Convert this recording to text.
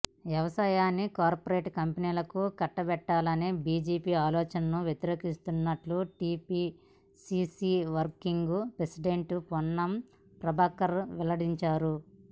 వ్యవసాయాన్ని కార్పొరేట్ కంపెనీలకు కట్టబెట్టాలనే బీజేపీ ఆలోచనను వ్యతిరేకిస్తున్నట్లు TPCC working president Ponnam Prabhakar వెల్లడించారు